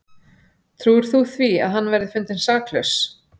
Trúir þú því að hann verði fundinn saklaus?